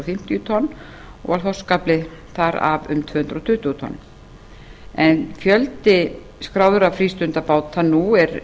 fimmtíu tonn og var þorskafli þar af um tvö hundruð tuttugu tonn en fjöldi skráðra frístundabáta nú er